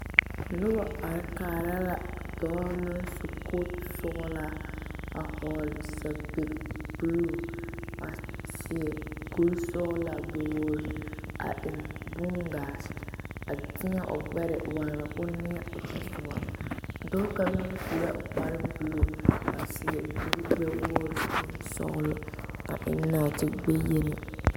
Noba are kaara la dɔɔ naŋ su kootu sɔgelaa a hɔɔle sapigi buluu a seɛ kuri sɔɔlaa gbɛ-wogiri a eŋ bongaate a tēɛ o gbɛre waana k'o neɛ o tɔsoba, dɔɔ kaŋa meŋ su la kpare buluu kyɛ seɛ kuri gbɛ-wogiri sɔɔlɔ, a eŋ naate-gbɛyeni.